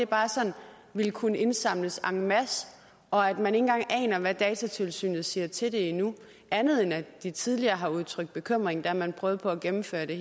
bare sådan vil kunne indsamles en masse og at man ikke engang aner hvad datatilsynet siger til det endnu andet end at de tidligere har udtrykt bekymring da man prøvede på at gennemføre det